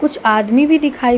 कुछ आदमी भी दिखाई --